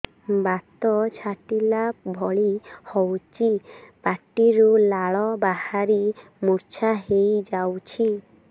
ବାତ ଛାଟିଲା ଭଳି ହଉଚି ପାଟିରୁ ଲାଳ ବାହାରି ମୁର୍ଚ୍ଛା ହେଇଯାଉଛି